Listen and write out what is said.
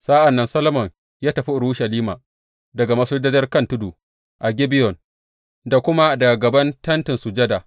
Sa’an nan Solomon ya tafi Urushalima daga masujadar kan tudu a Gibeyon, da kuma daga gaban Tentin Sujada.